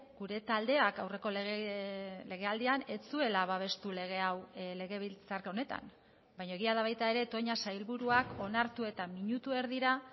gure taldeak aurreko legealdian ez zuela babestu lege hau legebiltzar honetan baina egia da baita ere toña sailburuak onartu eta minutu erdira